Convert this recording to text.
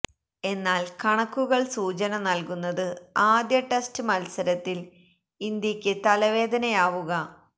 എന്നാൽ കണക്കുകൾ സൂചന നൽകുന്നത് ആദ്യ ടെസ്റ്റ് മത്സരത്തിൽ ഇന്ത്യയ്ക്ക് തലവേദനയാവുക